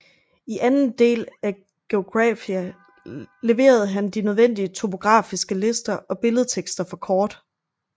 I anden del af Geographia leverede han de nødvendige topografiske lister og billedtekster for kort